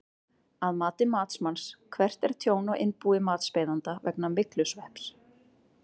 Að mati matsmanns, hvert er tjón á innbúi matsbeiðanda vegna myglusvepps?